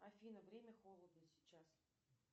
афина время холодно сейчас